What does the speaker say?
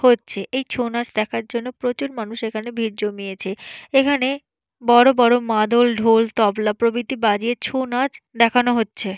হচ্ছে এই ছৌনাচ দেখার জন্য প্রচুর মানুষ এখানে ভিড় জমিয়েছে এখানে বড় বড় মাদল ঢোল তবলা প্রভৃতি বাজিয়ে ছৌনাচ দেখানো হচ্ছে।